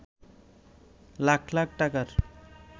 লাখ লাখ টাকার